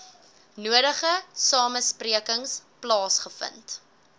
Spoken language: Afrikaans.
nodige samesprekings plaasgevind